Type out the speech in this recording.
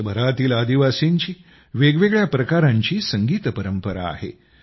देशभरातील आदिवासींची वेगवेगळ्या प्रकारांची संगीत परंपरा आहे